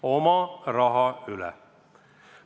Oma raha üle!